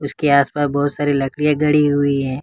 इसके आस पास बहुत सारी लकड़िया गड़ी हुई है।